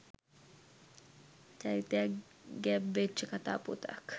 චරිතයක් ගැබ්වෙච්ච කතාපුවතක්